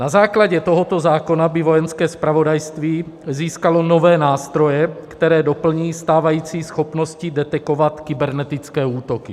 Na základě tohoto zákona by Vojenské zpravodajství získalo nové nástroje, které doplní stávající schopnosti detekovat kybernetické útoky.